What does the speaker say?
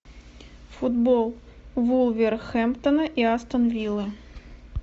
футбол вулверхэмптона и астон виллы